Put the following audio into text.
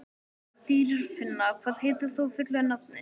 Dýrfinna, hvað heitir þú fullu nafni?